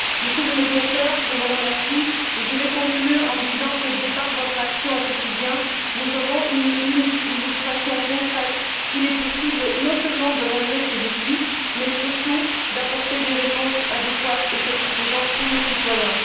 Monsieur le Médiateur, je vous remercie et je vais conclure en disant que, de par votre action au quotidien, nous avons une illustration concrète qu'il est possible non seulement de relever ces défis, mais surtout d'apporter des réponses adéquates et satisfaisantes pour les citoyens.